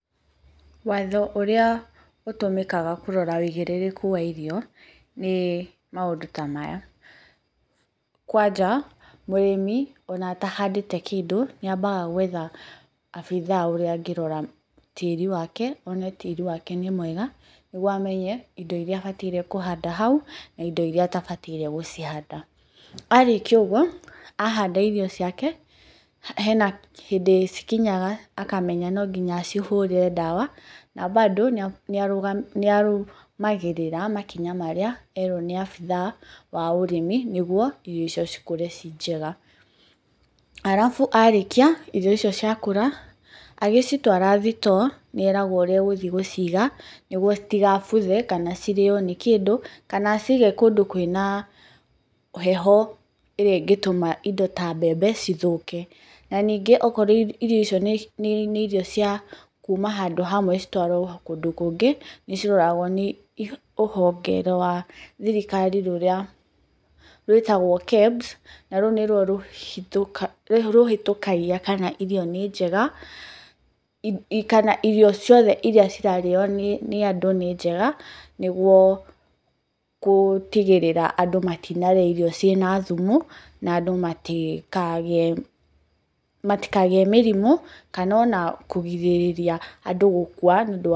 Watho ũrĩa ũtũmĩkaga kũrora ũigĩrĩrĩku wa irio ni maũndũ ta maya: kwanja, mũrĩmi ona atahandĩte kĩndũ, nĩ ambaga gwetha abithaa ũrĩa angĩrora tĩri wake one tĩri wake nĩ mwega, nĩguo amenye indo iria abataire kũhanda hau, na indo iria atabataire gũcihanda. Arĩkia ũguo, ahanda irio ciake, hena hĩndĩ cikinyaga akamenya no nginya acihũre ndawa, na mbandũ nĩarũmagĩrĩra makinya marĩa erwo ni abithaa wa ũrĩmi nĩguo irio icio cikũre ciĩ njega. Alafu arĩkia, irio icio cirakũra agĩcitwara thitoo nĩeragwo ũrĩa egũthiĩ gũciga, nĩguo citigabuthe kana cirĩo nĩ kĩndũ, kana acige kũndũ kwina heho ĩrĩa ĩngĩtũma indo ta mbembe cithũke. Na ningĩ okorwo irio icio ni irio cia kuma handũ hamwe citwarwo kũndũ kũngĩ, ni ciroragwo nĩ rũhonge rwa thirikari rũrĩa rwĩtagwo KEBS, na rũu nĩruo rũhĩtũkagia kana irio nĩ njega kana irio ciothe iria cirarĩo ni andũ nĩ njega, nĩguo gũtigĩrĩra andũ matinarĩa irio ciĩ na thumu, na andũ matikagĩe mĩrimu, kana ona kũgirĩrĩria andũ gũkwa nĩ undu wa...